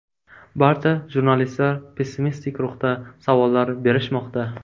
Barcha jurnalistlar pessimistik ruhda savollar berishmoqda.